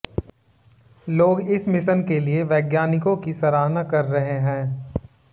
लोग इस मिशन के लिए वैज्ञानिकों की सराहना कर रहे हैं